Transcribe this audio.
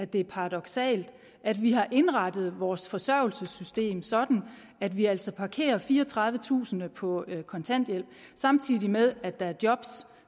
det er paradoksalt at vi har indrettet vores forsørgelsessystem sådan at vi altså parkerer fireogtredivetusind på kontanthjælp samtidig med at der er job